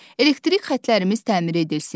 Elektrik xətlərimiz təmir edilsin.